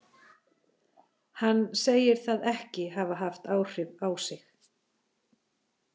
Hann segir það ekki hafa haft áhrif á sig.